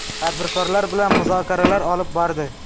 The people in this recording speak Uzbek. Tadbirkorlar bilan muzokaralar olib bordi.